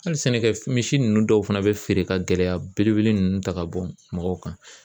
Hali sɛnɛkɛ misi ninnu dɔw fana bɛ feere ka gɛlɛya belebele ninnu ta ka bɔ mɔgɔw kan.